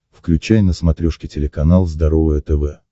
включай на смотрешке телеканал здоровое тв